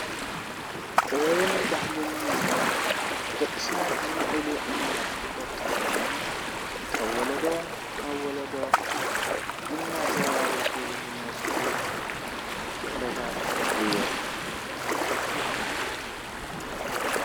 ጥበብን ባህልን ማለት ብደቂ ሰባት ዝምዕብሉ ዓይነታት ክእለት ኮይኖም ካብ ወለዶ ናብ ወለዶ እናተወራረሱ ዝመፁ ክእለታት እዮም፡፡